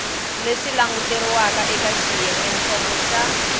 leswi languteriwaka eka xiyengentsongo xa